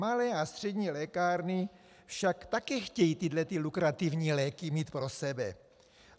Malé a střední lékárny však taky chtějí tyhle lukrativní léky mít pro sebe.